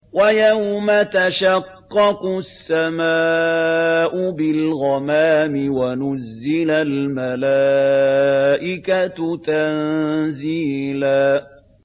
وَيَوْمَ تَشَقَّقُ السَّمَاءُ بِالْغَمَامِ وَنُزِّلَ الْمَلَائِكَةُ تَنزِيلًا